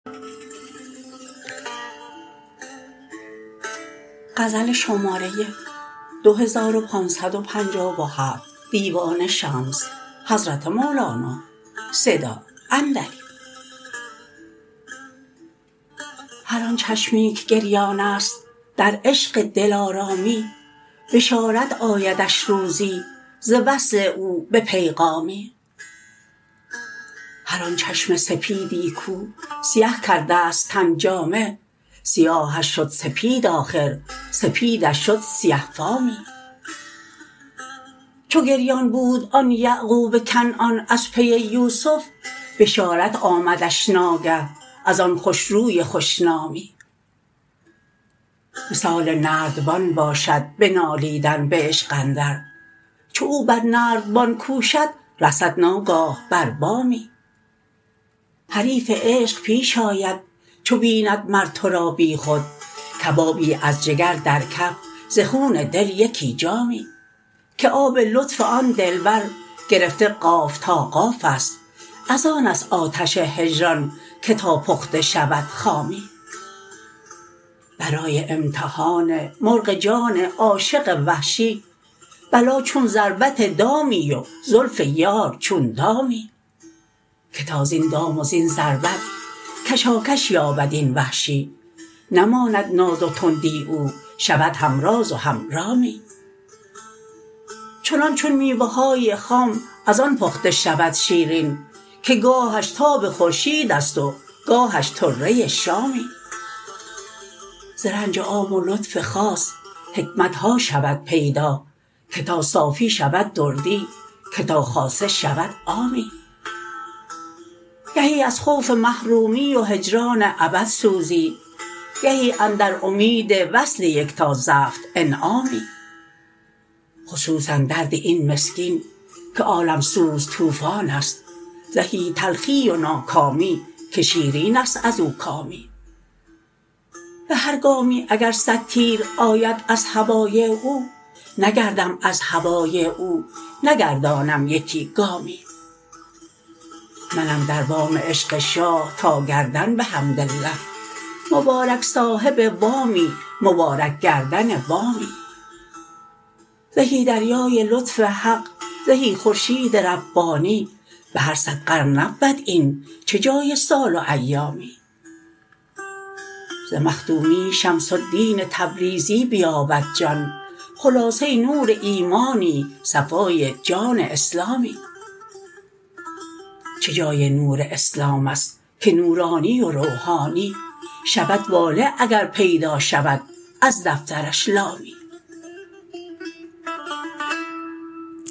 هر آن چشمی که گریان است در عشق دلارامی بشارت آیدش روزی ز وصل او به پیغامی هر آن چشم سپیدی کو سیه کرده ست تن جامه سیاهش شد سپید آخر سپیدش شد سیه فامی چو گریان بود آن یعقوب کنعان از پی یوسف بشارت آمدش ناگه از آن خوش روی خوش نامی مثال نردبان باشد به نالیدن به عشق اندر چو او بر نردبان کوشد رسد ناگاه بر بامی حریف عشق پیش آید چو بیند مر تو را بیخود کبابی از جگر در کف ز خون دل یکی جامی که آب لطف آن دلبر گرفته قاف تا قاف است از آن است آتش هجران که تا پخته شود خامی برای امتحان مرغ جان عاشق وحشی بلا چون ضربت دامی و زلف یار چون دامی که تا زین دام و زین ضربت کشاکش یابد این وحشی نماند ناز و تندی او شود همراز و هم رامی چنان چون میوه های خام از آن پخته شود شیرین که گاهش تاب خورشید است و گاهش طره شامی ز رنج عام و لطف خاص حکمت ها شود پیدا که تا صافی شود دردی که تا خاصه شود عامی گهی از خوف محرومی و هجران ابد سوزی گهی اندر امید وصل یکتا زفت انعامی خصوصا درد این مسکین که عالم سوز طوفان است زهی تلخی و ناکامی که شیرین است از او کامی به هر گامی اگر صد تیر آید از هوای او نگردم از هوای او نگردانم یکی گامی منم در وام عشق شاه تا گردن بحمدالله مبارک صاحب وامی مبارک کردن وامی زهی دریای لطف حق زهی خورشید ربانی به هر صد قرن نبود این چه جای سال و ایامی ز مخدومی شمس الدین تبریزی بیابد جان خلاصه نور ایمانی صفای جان اسلامی چه جای نور اسلام است که نورانی و روحانی شود واله اگر پیدا شود از دفترش لامی